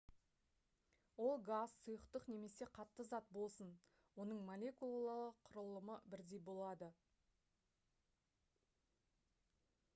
ол газ сұйықтық немесе қатты зат болсын оның молекулалық құрылымы бірдей болады